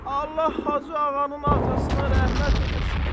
Allah Hacı ağanın atasına rəhmət eləsin.